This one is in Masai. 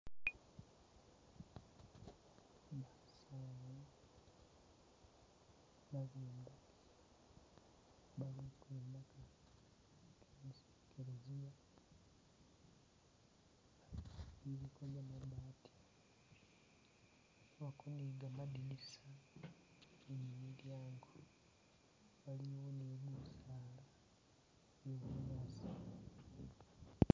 <<<<<<>>>